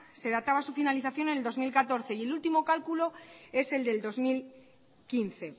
se databa su finalización en el dos mil catorce y el último cálculo es el de dos mil quince